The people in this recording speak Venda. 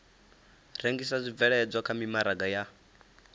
rengisa zwibveledzwa kha mimaraga ya